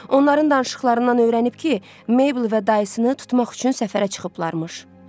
Onların danışıqlarından öyrənib ki, Meybl və dayısını tutmaq üçün səfərə çıxıblarmış.